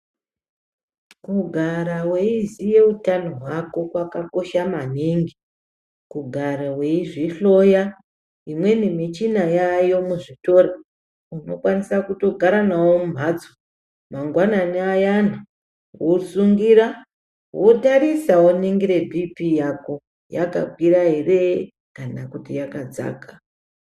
Kugara weiziye utano hwako kwakakosha maningi, kugara weizvihloya. Imweni michina yaayo muzvitoro, unokwanisa kutogara nawo mumhatso. Mangwanani ayana wosungira wotarisa woningire Bhiipii yako, yakakwira ere kana kuti yakadzaka.